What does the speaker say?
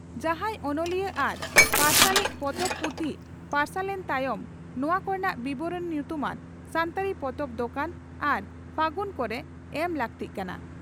ᱡᱟᱦᱟᱸᱭ ᱚᱱᱚᱞᱤᱭᱟᱹ ᱟᱨ ᱯᱟᱯᱟᱨᱥᱟᱞᱤᱡ ᱯᱚᱛᱚᱵ/ᱯᱩᱛᱷᱤ ᱯᱟᱨᱥᱟᱞᱮᱱ ᱛᱟᱭᱚᱢ ᱱᱚᱣᱟ ᱠᱚᱨᱮᱱᱟᱜ ᱵᱤᱵᱚᱨᱚᱬᱤ ᱧᱩᱛᱩᱢᱟᱱ ᱥᱟᱱᱛᱟᱲᱤ ᱯᱚᱛᱚᱵ ᱫᱚᱠᱟᱱ ᱟᱨ 'ᱯᱷᱟᱹᱜᱩᱱ' ᱠᱚᱨᱮ ᱮᱢ ᱞᱟᱹᱠᱛᱤᱜ ᱠᱟᱱᱟ ᱾